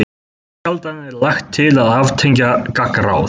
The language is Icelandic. Mjög sjaldan er lagt til að aftengja gangráð.